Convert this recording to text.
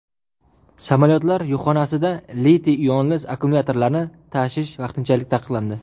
Samolyotlar yukxonasida litiy-ionli akkumulyatorlarni tashish vaqtinchalik taqiqlandi.